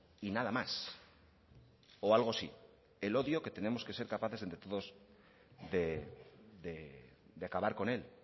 y nada más o algo sí el odio que tenemos que ser capaces entre todos de acabar con él